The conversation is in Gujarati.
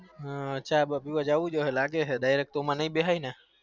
હ અચ્છા લાગે છે direct so માં